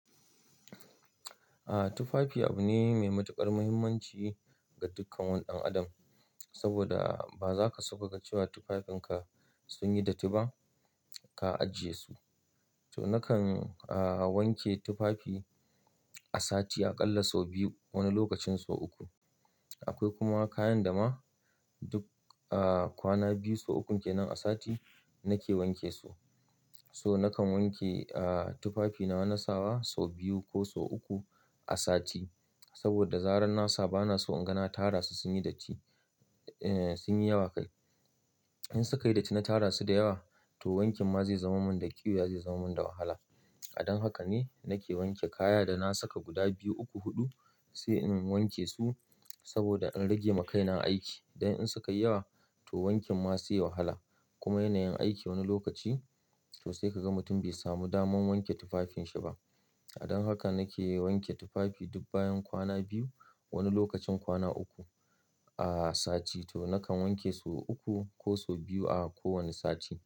Aaa, tufafi abu ne mai matuƙar muhimmanci ga dukkan waɗannan adam. Saboda ba za ka so ka ga cewa tufafinka sun yi datti ba, ka ajiye su. To nakan wanke tufafi a sati a ƙalla sau biyu, wani lokacin sau uku. Akwai kuma kayan da ma duk kwana biyu, sau ukun ke nan a sati nake wanke su. So nakan wanke tufafina na sawa sau biyu ko sau uku a sati. Saboda zarar nasa bana so in ga na tara su, sun yi datti, sun yi yawa kai. In suka yi datti na tara su da yawa, to wankin ma zai zama mun da ƙiwiya zama mun da wahala. Don haka ne nake wanke kaya da na saka guda biyu, uku, huɗu sai in wanke su saboda in rage makaina aiki. Don in suka yi yawa to wankin ma sai wahala. Kuma yanayin aiki wani lokaci, toh sai ka ga mutum bai samu daman wanke tufafinsa ba. Don haka nake wanke tufafi duk bayan kwana biyu, wani lokacin kwana uku a sati. To nakan wanke su uku ko sau biyu a kowane sati.